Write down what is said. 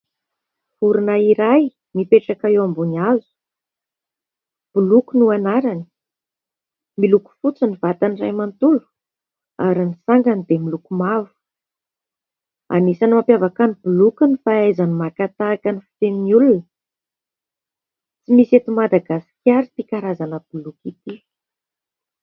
Vorona iray mipetraka eo ambony hazo ; Boloky no anarany ; miloko fotsy ny vatany iray manontolo ary ny sangany dia miloko mavo. Anisan'ny mampiavaka ny boloky ny fahaizany maka tahaka ny fitenin'ny olona. Tsy misy eto Madagasikara ity karazana boloky ity.